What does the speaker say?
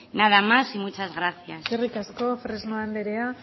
nada más y muchas gracias eskerrik asko fresno anderea